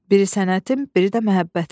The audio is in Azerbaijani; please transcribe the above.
biri sənətim, biri də məhəbbətim.